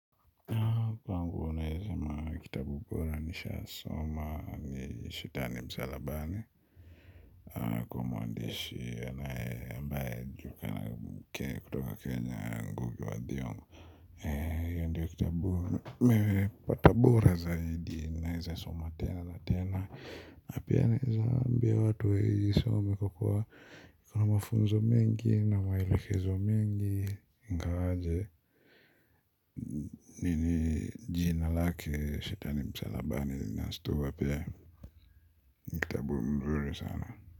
Kwangu naweza sema kitabu bora nishawahi soma ni shetani msalabani. Kwa mwandishi ambaye kutoka kenya ngugi wa thiongo hiyo ndiyo kitabu bora nimepata bora zaidi naweza soma tena na tena na pia naweza ambia watu waisome kwa kuwa ina mafunzo mengi na maelekezo mengi ingawaje jina lake Shetani msalabani linashtua pia kitabu mzuri sana.